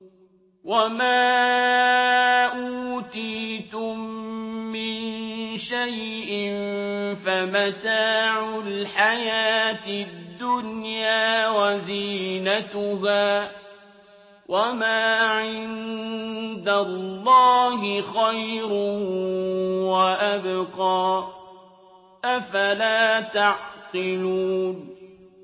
وَمَا أُوتِيتُم مِّن شَيْءٍ فَمَتَاعُ الْحَيَاةِ الدُّنْيَا وَزِينَتُهَا ۚ وَمَا عِندَ اللَّهِ خَيْرٌ وَأَبْقَىٰ ۚ أَفَلَا تَعْقِلُونَ